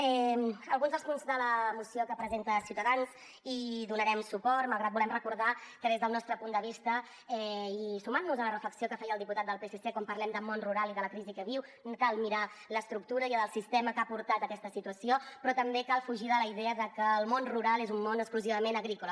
a alguns dels punts de la moció que presenta ciutadans hi donarem suport malgrat que volem recordar que des del nostre punt de vista i sumant nos a la reflexió que feia el diputat del psc quan parlem de món rural i de la crisi que viu cal mirar l’estructura i el sistema que han portat a aquesta situació però també cal fugir de la idea de que el món rural és un món exclusivament agrícola